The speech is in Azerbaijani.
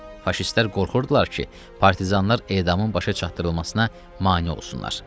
Faşistlər qorxurdular ki, partizanlar edamın başa çatdırılmasına mane olsunlar.